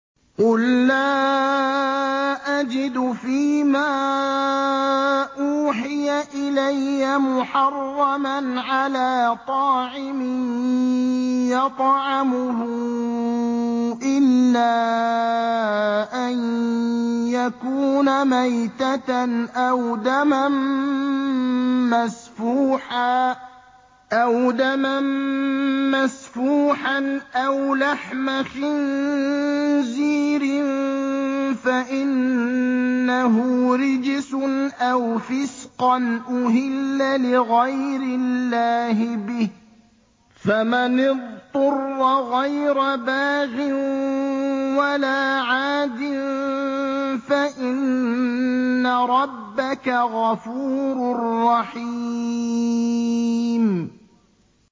قُل لَّا أَجِدُ فِي مَا أُوحِيَ إِلَيَّ مُحَرَّمًا عَلَىٰ طَاعِمٍ يَطْعَمُهُ إِلَّا أَن يَكُونَ مَيْتَةً أَوْ دَمًا مَّسْفُوحًا أَوْ لَحْمَ خِنزِيرٍ فَإِنَّهُ رِجْسٌ أَوْ فِسْقًا أُهِلَّ لِغَيْرِ اللَّهِ بِهِ ۚ فَمَنِ اضْطُرَّ غَيْرَ بَاغٍ وَلَا عَادٍ فَإِنَّ رَبَّكَ غَفُورٌ رَّحِيمٌ